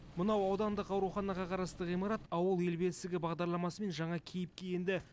мынау аудандық ауруханаға қарасты ғимарат ауыл ел бесігі бағдарламасымен жаңа кейіпке енді